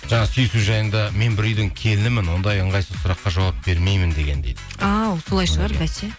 жаңа сүйісу жайында мен бір үйдің келінімін ондай ыңғайсыз сұраққа жауап бермеймін деген дейді а солай шығар басе